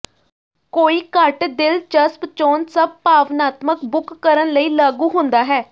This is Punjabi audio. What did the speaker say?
ਕੋਈ ਘੱਟ ਦਿਲਚਸਪ ਚੋਣ ਸਭ ਭਾਵਨਾਤਮਕ ਬੁੱਕ ਕਰਨ ਲਈ ਲਾਗੂ ਹੁੰਦਾ ਹੈ